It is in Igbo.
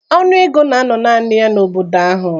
Ọnụ ego na-anọ naanị ya n'obodo ahụ.